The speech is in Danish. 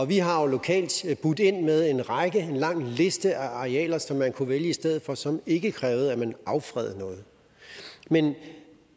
vi har jo lokalt budt ind med en lang liste af arealer som man kunne vælge i stedet for og som ikke krævede at man affredede noget